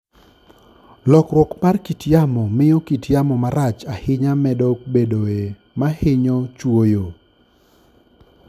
Lokruok mar kit yamo miyo kit yamo marach ahinya medo bedoe ma hinyo chwoyo.